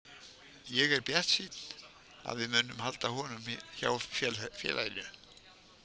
Ég er bjartsýnn að við munum halda honum hjá félaginu.